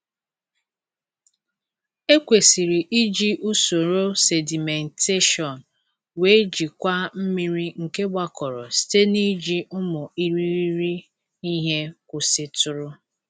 Ekwesịrị iji usoro sedimentation wee jikwaa mmiri nke gbakọrọ site n’iji ụmụ irighiri ihe kwụsịtụrụ.